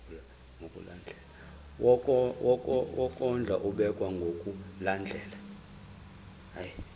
wokondla ubekwa ngokulandlela